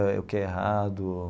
Eh o que é errado.